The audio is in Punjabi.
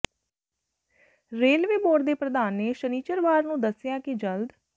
ਰੇਲਵੇ ਬੋਰਡ ਦੇ ਪ੍ਰਧਾਨ ਨੇ ਸ਼ਨਿਚਰਵਾਰ ਨੂੰ ਦੱਸਿਆ ਕਿ ਜਲਦ